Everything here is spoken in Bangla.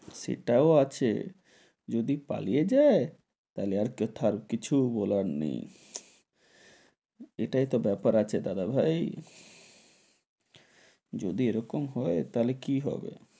সেটাও আছে, যদি পালিয়ে যাই, তাহলে আর কথার কিছু বলার নেই, এটাই তো বেপার আছে দাদাভাই, যদি এরকম হয় তাহলে কি হবে?